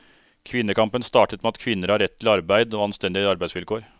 Kvinnekampen startet med at kvinner har rett til arbeid og anstendige arbeidsvilkår.